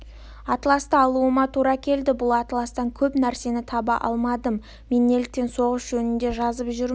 атласты алуыма тура келді бұл атластан көп нәрсені таба алмадым мен неліктен соғыс жөнінде жазып жүрмін